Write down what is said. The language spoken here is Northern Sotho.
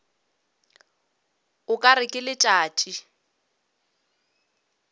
o ka re ke letšatši